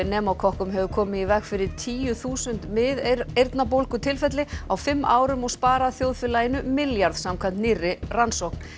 pneumókokkum hefur komið í veg fyrir tíu þúsund miðeyrnabólgu tilfelli á fimm árum og sparað þjóðfélaginu milljarð samkvæmt nýrri rannsókn